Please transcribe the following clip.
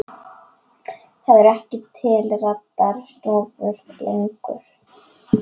Það eru ekki til rakarastofur lengur.